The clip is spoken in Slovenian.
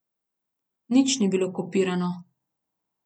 Nič ni bilo kopirano.